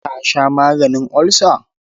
Ka sha maganin ulcer?